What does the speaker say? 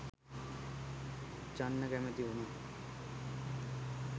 චන්න කැමැති වුණා